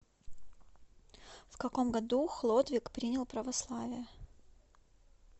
в каком году хлодвиг принял православие